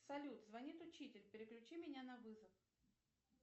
салют звонит учитель переключи меня на вызов